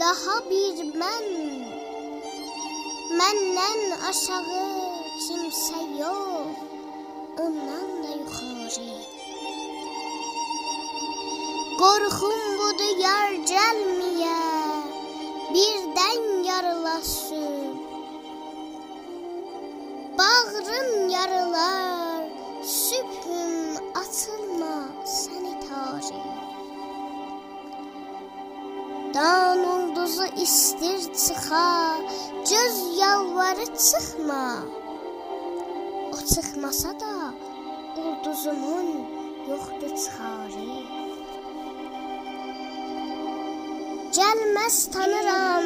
داها بیر من مندن آشاغی کیمسه یوخ اوندان دا یوخاری قورخوم بودی یار گلمه یه بیردن یاریلا صبح باغریم یاریلار صبحوم آچیلما سنی تاری دان اولدوزی ایسته ر چیخا گؤز یالواری چیخما او چیخماسادا اولدوزومون یوخدی چیخاری گلمز تانیرام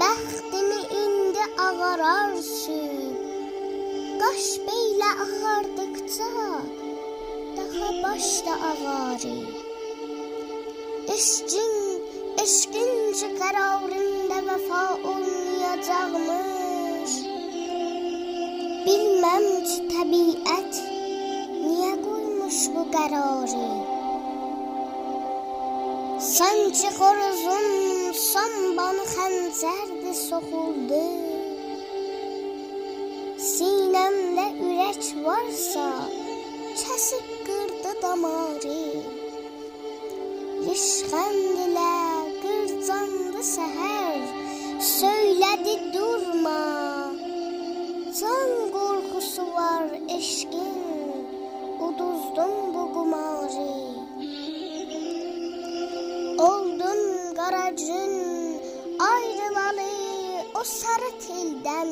بختیمی ایندی آغارار صبح قاش بیله آغاردیقجا داها باش دا آغاری عشقین کی قراریندا وفا اولمیاجاقمیش بیلمم کی طبیعت نیه قویموش بو قراری سانکی خوروزون سون بانی خنجردی سوخولدی سینه مده أورک وارسا کسیب قیردی داماری ریشخندله قیرجاندی سحر سویله دی دورما جان قورخوسی وار عشقین اوتوزدون بو قماری اولدوم قره گون آیریلالی او ساری تیلدن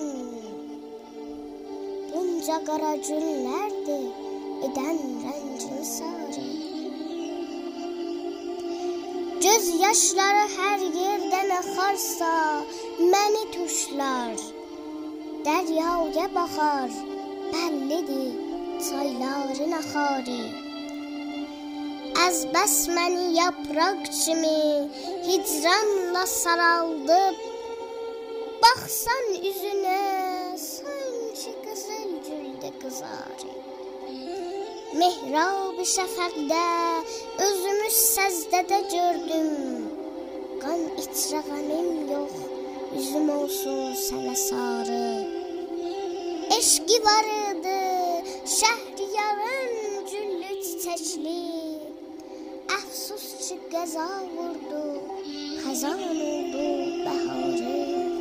بونجا قره گونلردی ایدن رنگیمی ساری گؤز یاشلاری هر ییردن آخارسا منی توشلار دریایه باخار بللی دی چایلارین آخاری از بس منی یاپراق کیمی هیجرانلا سارالدیب باخسان اوزونه سانکی قیزیل گولدی قیزاری محراب شفقده یوزومی سجده ده گؤردوم قان ایچره غمیم یوخ اوزوم اولسون سنه ساری عشقی واریدی شهریارین گللی- چیچکلی افسوس قارا یل اسدی خزان اولدی بهاری